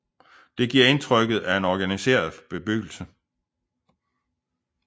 Det giver indtrykket af en organiseret bebyggelse